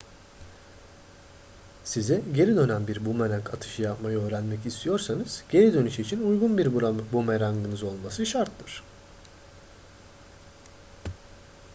size geri dönen bir bumerang atışı yapmayı öğrenmek istiyorsanız geri dönüş için uygun bir bumerangınız olması şarttır